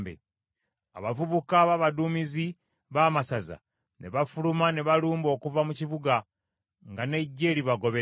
Abavubuka b’abaduumizi b’amasaza ne bafuluma ne balumba okuva mu kibuga, nga n’eggye libagoberera.